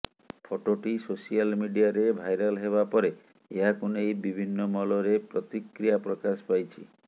ଫଟୋଟି ସୋସିଆଲ ମିଡିଆରେ ଭାଇରାଲ୍ ହେବା ପରେ ଏହାକୁ ନେଇ ବିଭିନ୍ନ ମହଲରେ ପ୍ରତିକ୍ରିୟା ପ୍ରକାଶ ପାଇଛି